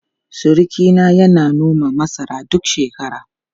Surukina yana noman masara duk shekara.